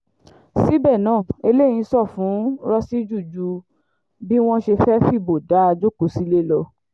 síbẹ̀ náà eléyìí ṣàn fún rọ́síjì ju bí wọ́n ṣe fẹ́ẹ́ fìbò dá a jókòó sílé lọ